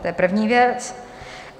To je první věc.